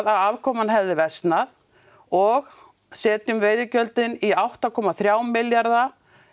að afkoman hefði versnað og setjum veiðigjöldin í átta komma þrjá milljarða